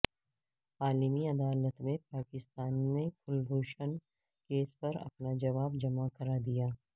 عالمی عدالت میں پاکستان نے کلبھوشن کیس پر اپنا جواب جمع کرا دیا